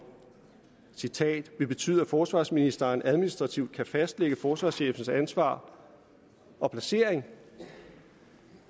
vil betyde at forsvarsministeren administrativt kan fastlægge forsvarschefens ansvar og placering